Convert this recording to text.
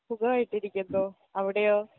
സുഖായിട്ടിരിക്കുന്നു അവിടെയോ